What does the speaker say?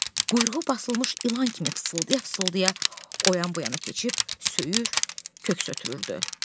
Quyruğu basılmış ilan kimi fısıldaya-fısıldaya o yan-bu yana keçib, söyür, köks ötürürdü.